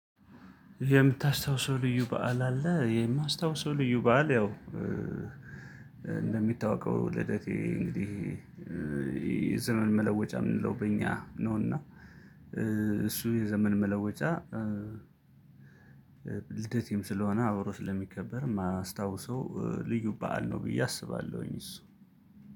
የምታስታውሰው ልዩ በዓል አለ? የማስታውሰው ልዩ በዓል ያው እንደሚታወቀው ልደቴ እንግዲህ ይሄ የዘመን መለወጫ የምንለው በእኛ ነውና እሱ የዘመን መለወጫ። ልደቴም ስለሆነ አብሮ ስለሚከበር ማስታወሰው ልዩ በዓል ነው ብዬ አስባለሁኝ። እሱ